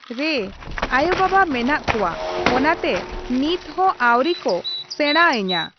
ᱨᱮ ᱟᱭᱳ ᱵᱟᱵᱟ ᱢᱮᱱᱟᱜ ᱠᱚᱣᱟ ᱾ ᱚᱱᱟᱛᱮ ᱱᱤᱛᱦᱚᱸ ᱟᱣᱨᱤ ᱠᱚ ᱥᱮᱬᱟ ᱟᱹᱧᱟᱹ ᱾